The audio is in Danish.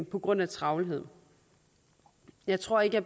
på grund af travlhed jeg tror ikke